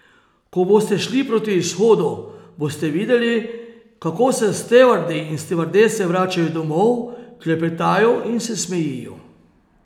Ko boste šli proti izhodu, boste videli, kako se stevardi in stevardese vračajo domov, klepetajo in se smejijo.